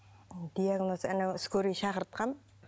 диагнозы анау скорый шақыртқан